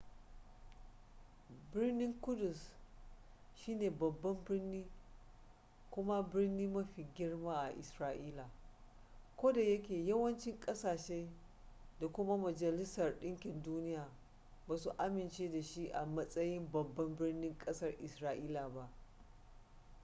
birnin ƙudus shine babban birni kuma birni mafi girma a isra'ila kodayake yawancin kasashe da kuma majalisar ɗinkin duniya ba su amince da shi a matsayin babban birnin ƙasar isra'ila ba